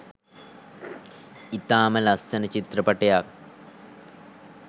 ඉතාම ලස්සන චිත්‍රපටයක්.